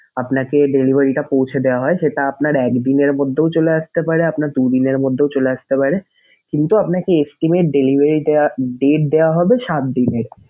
আপনাকে delivery টা পৌছে দেওয়া হয় সেটা আপনার একদিনের মধ্যেও চলে আসতে পারে আপনার দুদিনের মধ্যেও চলে আসতে পারে কিন্তু আপনাকে estimate delivery day date দেওয়া হবে সাত দিনের।